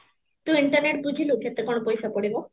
ତୁ internet ବୁଝିଲୁ କେତେ କଣ ପଇସା ପଡିବ?